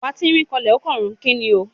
Ọ̀pá tínrín ó kanlẹ̀ ó kànrun. Kíni o?